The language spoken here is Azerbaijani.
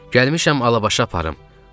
Gəlmişəm Alabaşı aparım.